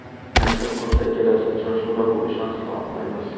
Nasib qilsa, kelasi uchrashuvda bu ishonchni oqlaymiz.